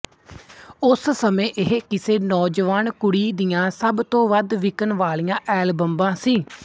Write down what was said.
ਉਸ ਸਮੇਂ ਇਹ ਕਿਸੇ ਨੌਜਵਾਨ ਕੁੜੀ ਦੀਆਂ ਸਭ ਤੋ ਵੱਧ ਵਿਕਣ ਵਾਲੀ ਐਲਬਮਾਂ ਸੀ